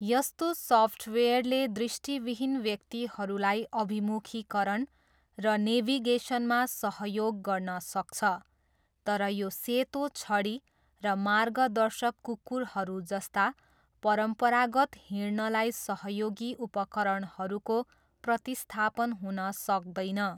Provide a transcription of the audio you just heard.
यस्तो सफ्टवेयरले दृष्टिविहीन व्यक्तिहरूलाई अभिमुखीकरण र नेभिगेसनमा सहयोग गर्न सक्छ, तर यो सेतो छडी र मार्गदर्शक कुकुरहरू जस्ता परम्परागत हिँड्नलाई सहयोगी उपकरणहरूको प्रतिस्थापन हुन सक्दैन।